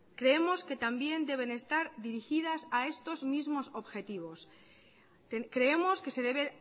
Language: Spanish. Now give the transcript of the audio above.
creemos que también deben estar dirigidas a estos mismos objetivos creemos que se debe